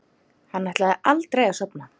Hann ætlaði aldrei að sofna.